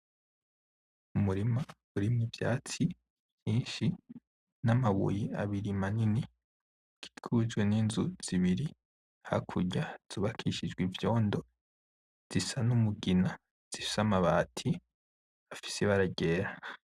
Umurima urimwo ivyatsi vyinshi n' amabuye abiri manini bikikujwe n' Inzu zibiri hakurya zubakishijwe ivyondo. zisa n' umugina zifise n' amabati afise ibara ryera .